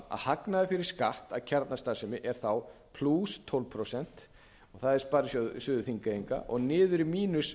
hagnaður fyrir skatt af kjarnastarfsemi er þá plús tólf prósent og það er sparisjóður þigneyinga og niður í mínus